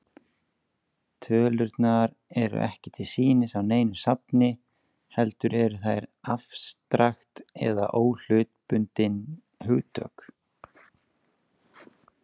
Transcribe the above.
Tölurnar eru ekki til sýnis á neinu safni, heldur eru þær afstrakt eða óhlutbundin hugtök.